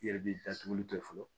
I yɛrɛ b'i datuguli kɛ fɔlɔ